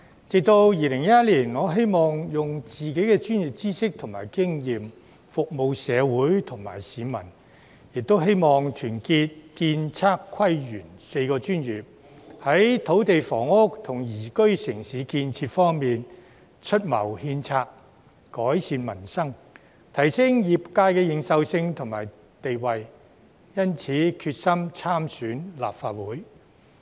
直至2011年，我希望用自己的專業知識及經驗服務社會和市民，亦希望團結建、測、規、園4個專業，在土地房屋及宜居城市建設方面，出謀獻策，改善民生，提升業界的認受性及地位，因此決心參選立法會。